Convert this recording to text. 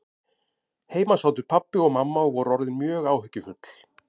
Heima sátu pabbi og mamma og voru orðin mjög áhyggjufull.